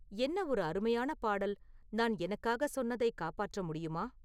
என்ன ஒரு அருமையான பாடல் நான் எனக்காக சொன்னதை காப்பாற்ற முடியுமா